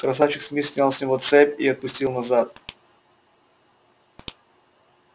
красавчик смит снял с него цепь и отпустил назад